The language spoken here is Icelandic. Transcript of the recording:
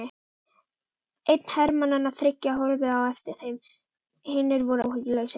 Einn hermannanna þriggja horfði á eftir þeim, hinir voru áhugalausir.